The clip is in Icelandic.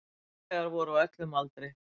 Farþegar voru á öllum aldri.